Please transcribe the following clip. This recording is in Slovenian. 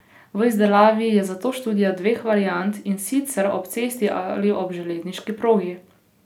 V izdelavi je zato študija dveh variant, in sicer ob cesti ali ob železniški progi.